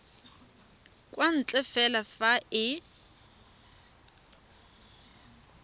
kwa ntle fela fa e